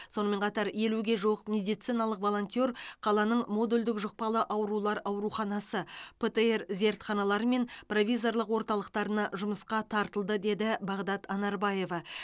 сонымен қатар елуге жуық медициналық волонтер қаланың модульдік жұқпалы аурулар ауруханасы птр зертханалары мен провизорлық орталықтарына жұмысқа тартылды деді бағдат анарбаева